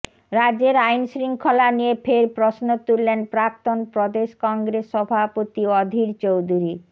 রাজ্যের আইনশৃঙ্খলা নিয়ে ফের প্রশ্ন তুললেন প্রাক্তন প্রদেশ কংগ্রেস সভাপতি অধীর চৌধুরী